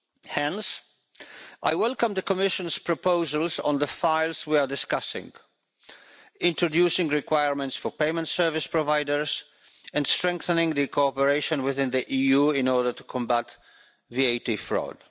Hence, I welcome the Commission's proposals on the files we are discussing introducing requirements for payment service providers, and strengthening cooperation within the EU in order to combat VAT fraud.